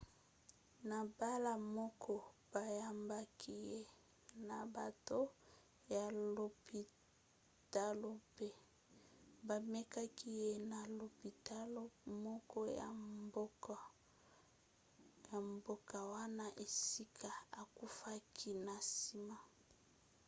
na mbala moko bayambaki ye na bato ya lopitalo mpe bamemaki ye na lopitalo moko ya mboka wana esika akufaki na nsima